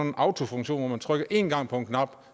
en autofunktion hvor man trykker én gang på en knap og